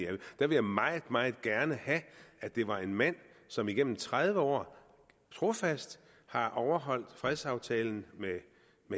der vil jeg meget meget gerne have at det var en mand som igennem tredive år trofast har overholdt fredsaftalen med